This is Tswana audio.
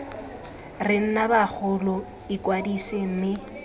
re nna bagolo ikwadise mme